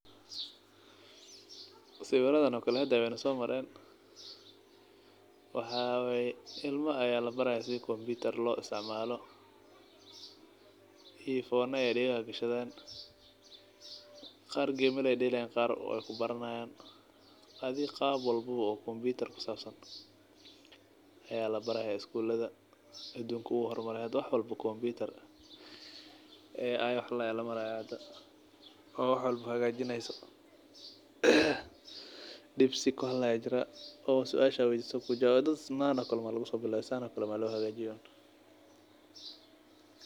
Sawiradano kale haday wey nasomaren waxa waye ilmo aya labaraya sida kombutar loisticmalo wax waye arfona ayey dagaha gashaden qar gemal ayey delayan qar wey iskaciyarian adhiga qaab walbo oo kombutar kusabsan aya labaraya adunka wu hormare hada wax walbo kombutar ai wax ladoho aya hda oo wax walbo hagajineyso deepseek wax ladoho oo dad sidayno kale lugusobilawo u hagajiye uun.